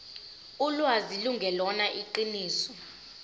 ulwazi lungelona iqiniso